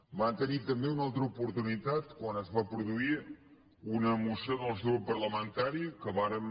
van tenir també una altra oportunitat quan es va produir una moció del nostre grup parlamentari que vàrem